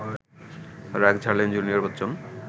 রাগ ঝাড়লেন জুনিয়র বচ্চন